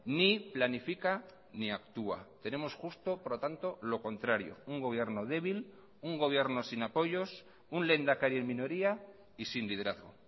ni planifica ni actúa tenemos justo por lo tanto lo contrario un gobierno débil un gobierno sin apoyos un lehendakari en minoría y sin liderazgo